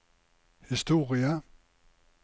historie